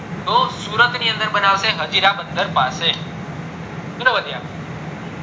તો સુરત ની અંદર બનાવશે હજીરા બંદર પાસે ચલો વધીએ આગળ